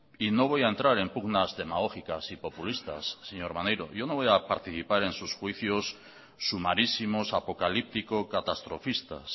y no voy a entrar en pugnas demagógicas y populistas señor maneiro yo no voy a participar en sus juicios sumarísimos apocalíptico catastrofistas